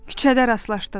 Küçədə rastlaşdıq.